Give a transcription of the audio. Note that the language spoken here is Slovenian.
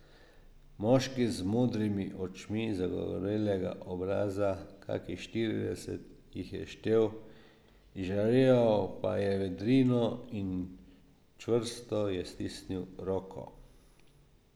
Moški z modrimi očmi, zagorelega obraza, kakih štirideset jih je štel, izžareval pa je vedrino in čvrsto je stisnil roko.